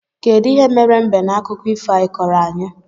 Kedụ ihe mere mbe na akụkọ ifo a i koro anyị?